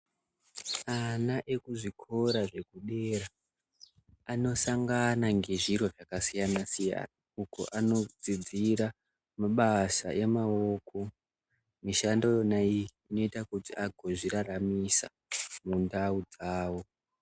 Ana ekuzvikora zvekudera anosangana ngezvito zvakasiyana-siyana. Uko kwavanodzidzira mabasa emaoko mishando iyona iyi inoita kuti angozviraramisa mundau dzavo.